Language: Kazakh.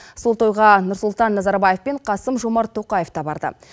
сол тойға нұрсұлтан назарбаев пен қасым жомарт тоқаев та барды